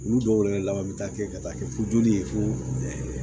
Olu dɔw yɛrɛ laban bɛ taa kɛ ka taa kɛ fo joli ye fo